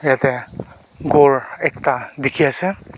yate ghor ekta dikhi ase.